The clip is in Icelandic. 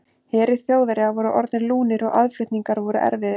Herir Þjóðverja voru orðnir lúnir og aðflutningar voru erfiðir.